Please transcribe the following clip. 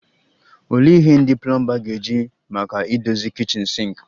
Olee ihe ndị plomba ga-eji maka idozi kichin sinki?